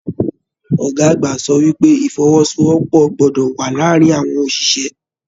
Ọgá àgbà sọ wípé ifọ́wọ́sowọ́pọ̀ gbọdọ wà láàárín àwọn oṣiṣẹ.